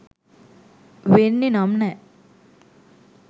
වෙන්නෙ නම් නෑ.